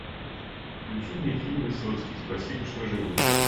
включи мне фильм высоцкий спасибо что живой